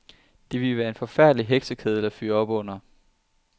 Det ville være en forfærdelig heksekedel at fyre op under.